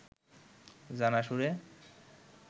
জানা সুরে